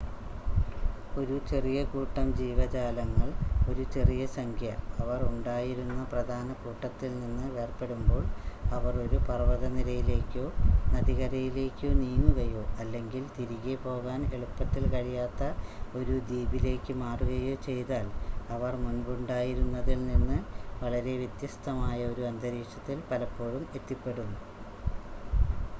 ഒരു ചെറിയ കൂട്ടം ജീവജാലങ്ങൾ ഒരു ചെറിയ സംഖ്യ അവർ ഉണ്ടായിരുന്ന പ്രധാന കൂട്ടത്തിൽ നിന്ന് വേർപ്പെടുമ്പോൾ അവർ ഒരു പർവ്വതനിരയിലേക്കോ നദിക്കരയിലേക്കോ നീങ്ങുകയോ അല്ലെങ്കിൽ തിരികെ പോകാൻ എളുപ്പത്തിൽ കഴിയാത്ത ഒരു ദ്വീപിലേക്ക്‌ മാറുകയോ ചെയ്‌താൽ അവർ മുൻപുണ്ടായിരുന്നതിൽ നിന്ന് വളരെ വ്യത്യസ്തമായ ഒരു അന്തരീക്ഷത്തിൽ പലപ്പോഴും എത്തിപ്പെടും